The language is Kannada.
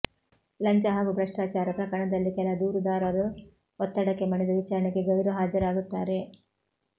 ಲಂಚ ಹಾಗೂ ಭ್ರಷ್ಟಾಚಾರ ಪ್ರಕರಣದಲ್ಲಿ ಕೆಲ ದೂರುದಾರರು ಒತ್ತಡಕ್ಕೆ ಮಣಿದು ವಿಚಾರಣೆಗೆ ಗೈರು ಹಾಜರಾಗುತ್ತಾರೆ